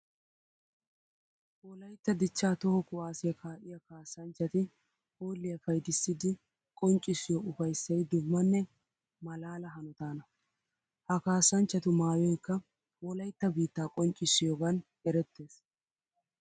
Wolaytta dicha toho kuwasiya kaa'iya kaassanchchatti hoolliya payddissiddi qonccissiyo ufayssay dummanne malaala hanotana. Ha kaassachchattu maayoykka wolaytta biitta qonccissiyogan erettes.